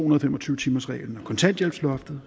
og fem og tyve timersreglen og kontanthjælpsloftet